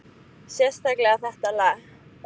Sérstaklega þetta lag.